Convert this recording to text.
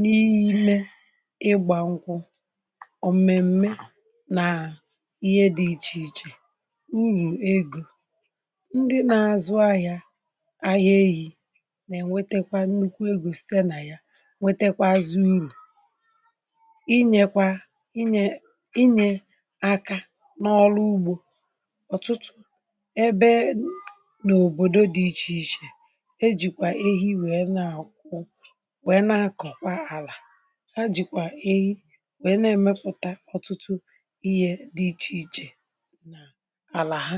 n’ime ịgbȧ nkwụ ọ̀mẹ̀mẹ nà ihe dị̇ ichè ichè urù egȯ ndị na-azụ ahịȧ na-enwetekwa nnukwu egȯ site nà ya nwetekwa azụ urù inyèkwa inyè inyè akȧ n’ọrụ ugbȯ ọ̀tụtụ̀ ebe n’òbòdò dị̇ ichè ichè ejìkwà ehi wee na-akụ̀ wee na-akọ̀kwa àlà ha jìkwà ehi wee na-emepụ̀ta ọtụtụ iyè dị̇ ichè ichè àlà ha